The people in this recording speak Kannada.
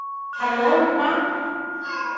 Hello Rupa Babble.